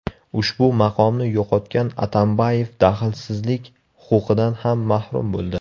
Ushbu maqomni yo‘qotgan Atambayev daxlsizlik huquqidan ham mahrum bo‘ldi.